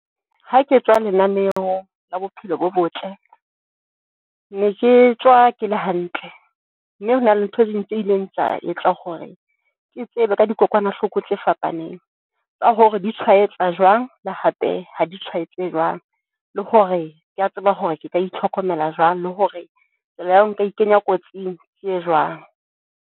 Ha ke tswa lenaneo la bophelo bo botle ne ke tswa ke le hantle mme hona le ntho ding tse ileng tsa etsa hore ke tsebe ka dikokwanahloko tse fapaneng tsa hore di tshwaetsa jwang le hape ha di tshwaetse jwang. Le hore ke a tseba hore ke nka itlhokomela jwang. Le hore tsela ya hore nka e ikenya kotsing, ke e jwang.